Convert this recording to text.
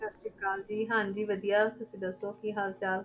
ਸਤਿ ਸ੍ਰੀ ਅਕਾਲ ਜੀ ਹਾਂਜੀ ਵਧੀਆ, ਤੁਸੀਂ ਦੱਸੋ, ਕੀ ਹਾਲ ਚਾਲ?